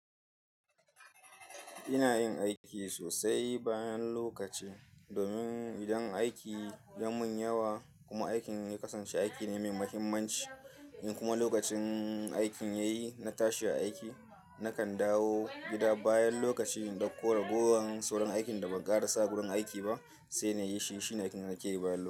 Ina yin aiki sosai bayan lokaci domin idan aiki ya mun yawa kuma aikin ya kasance aiki ne mai mahimmanci in kuma lokacin aikin ya yi na tashi aiki, na kan dawo gida bayan lokaci in dauko ragowar sauran aikin da ban ƙara sa gurin aiki ba sai na yi shi. Shine aikin da nake yi bayan lo.